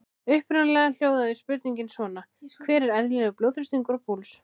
Upprunalega hljóðaði spurningin svona: Hver er eðlilegur blóðþrýstingur og púls?